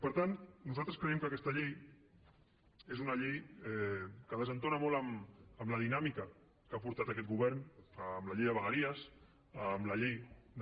per tant nosaltres creiem que aquesta llei és una llei que desentona molt amb la dinàmica que ha portat aquest govern amb la llei de vegueries amb la llei de